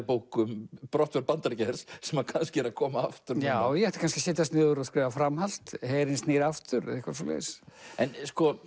bók um brottför Bandaríkjahers sem kannski er að koma aftur já ég ætti kannski að setjast niður og skrifa framhald herinn snýr aftur eða eitthvað svoleiðis en